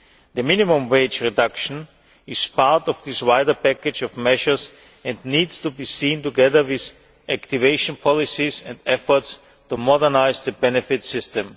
The minimum wage reduction is part of this wider package of measures and needs to be seen together with activation policies and efforts to modernise the benefit system.